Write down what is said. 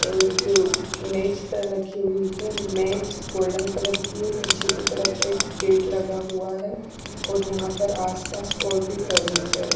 एक मेज पर रखी हुई है मेज गोल्डन कलर की है पीछे की तरफ एक गेट लगा हुआ है और यहाँ पर आस पास और भी फर्नीचर --